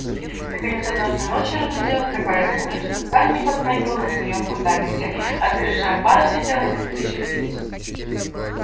наконец однажды ночью разразилась такая буря что здание подрагивало на своём фундаменте а с крыши амбара слетело несколько черепиц